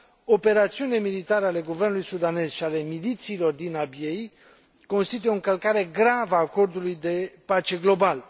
Operațiunile militare ale guvernului sudanez și ale milițiilor din Abiey constituie o încălcare gravă a Acordului de pace global.